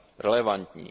relevantní.